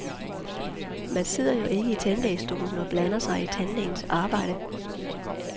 Man sidder jo ikke i tandlægestolen og blander sig i tandlægens arbejde.